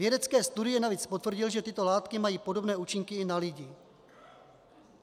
Vědecké studie navíc potvrdily, že tyto látky mají podobné účinky i na lidi.